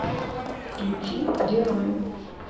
включи герои